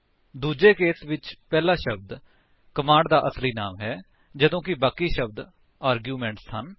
ਦੂੱਜੇ ਕੇਸ ਵਿੱਚ ਪਹਿਲਾ ਸ਼ਬਦ ਕਮਾਂਡ ਦਾ ਅਸਲੀ ਨਾਮ ਹੈ ਜਦੋਂ ਕਿ ਬਾਕੀ ਸ਼ਬਦ ਆਰਗੂਮੈਂਟਸ ਹਨ